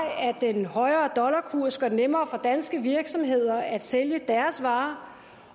den højere dollarkurs gør det nemmere for danske virksomheder at sælge deres varer